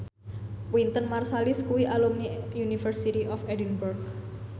Wynton Marsalis kuwi alumni University of Edinburgh